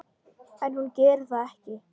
En hún gerir það ekki.